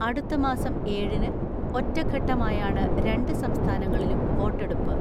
അടുത്ത മാസം ഏഴിന് ഒറ്റഘട്ടമായാണ് രണ്ട് സംസ്ഥാനങ്ങളിലും വോട്ടെടുപ്പ്.